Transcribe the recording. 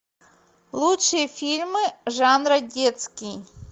лучшие фильмы жанра детский